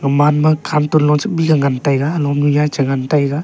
uman ma kham telo ley ngan taiga anom nu ley chu ngan tega.